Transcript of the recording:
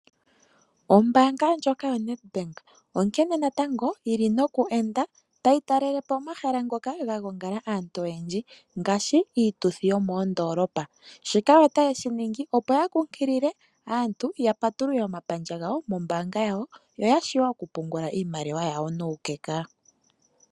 Ombaanga ndjoka yoNedbank onkene natango yili noku enda tayi talelepo omahala ngoka ga gongala aantu oyendji ngaashi iituthi yomoondolopa. Shika otayeshiningi opo ya kunkilile aantu yapatulule omapandja gawo mombanga yawo opo ya vule okupungula iimaliwa yawo nuukeka.